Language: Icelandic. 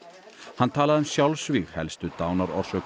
hann talaði um sjálfsvíg helstu dánarorsök